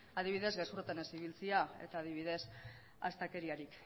adibidez gezurretan ez ibiltzea eta adibidez astakeriarik